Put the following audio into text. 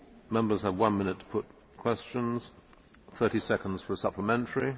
Members have one minute to put questions, 30 seconds for a supplementary.